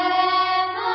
Vande Mataram